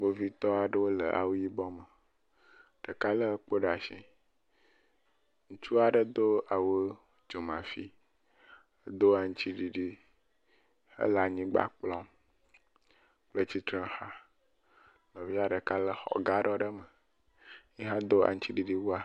Kpovitɔ aɖewo le awu yibɔ me. Ɖeka le kpo ɖe asi. Ŋutsu aɖe do awu dzomafi, do aŋtsiɖiɖi hele anyigba kplɔm kple tsitrexa. Nɔvia ɖeka le xɔ gaɖɔ aɖe me yi hã do aŋtsiɖiɖi wua.